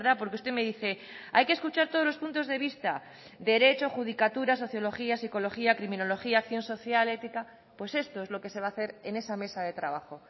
porque usted me dice hay que escuchar todos los puntos de vista derecho judicatura sociología psicología criminología acción social ética pues esto es lo que se va a hacer en esa mesa de trabajo